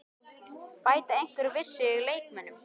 Bæta einhverjir við sig leikmönnum?